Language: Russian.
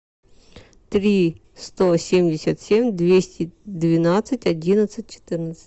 три сто семьдесят семь двести двенадцать одиннадцать четырнадцать